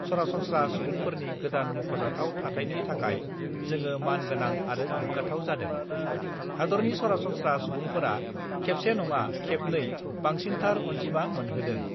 सरासन्त्रा सुबुंफोरनि गोदान मख'जाथाव थाथायनि थाखाय जोङो मान गोनां आरो गोग्गाथाव जादों हादरनि सरासन्स्रा सुबुंफोरा खेबसे नङा खेबनै बांसिनथार अन्जिमा मोनहोदों।